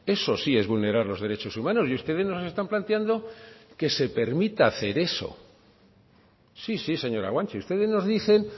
eso sí es vulnerar los derechos humanos y ustedes nos están planteando que se permita hacer eso sí sí señora guanche ustedes nos dicen